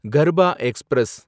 Garba express